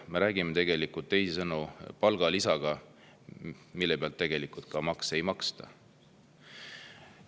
Me räägime teisisõnu palgalisast, mille pealt makse ei maksta.